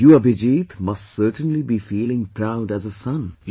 You Abhijeet must certainly be feeling proud as a son